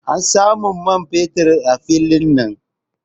An samu man fetur a filin nan.